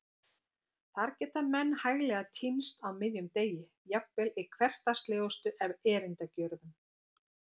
Þar geta menn hæglega týnst á miðjum degi, jafnvel í hversdagslegustu erindagjörðum.